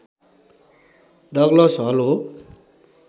Douglas Hull हो